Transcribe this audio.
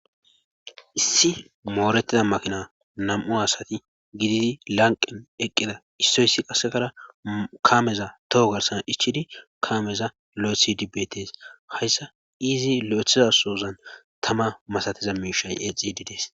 issi moorettida makina nam7u asati gididi lanqen eqqida issoyssi qasekara kaameza toho garsan ichchidi kaameza lo7issidi beetes hayssa izi lo7ethiza sohozan tama masatiza miishay eexxiiddi dees.